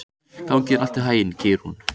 Gangi þér allt í haginn, Geirrún.